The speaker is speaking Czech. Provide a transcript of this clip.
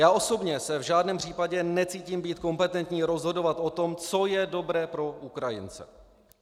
Já osobně se v žádném případě necítím být kompetentní rozhodovat o tom, co je dobré pro Ukrajince.